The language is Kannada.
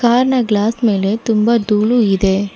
ಕಾರ್ನ ಗ್ಲಾಸ್ ಮೇಲೆ ತುಂಬಾ ದೂಳು ಇದೆ.